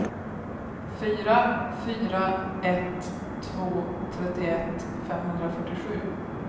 fyra fyra ett två trettioett femhundrafyrtiosju